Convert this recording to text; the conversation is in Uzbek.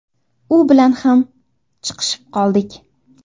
U bilan ham chiqishib qoldik.